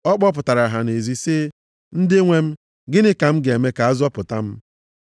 Ọ kpọpụtara ha nʼezi sị, “Ndị nwe m, gịnị ka m ga-eme ka a zọpụta m?”